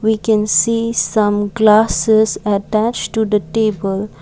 we can see some glasses attached to the table.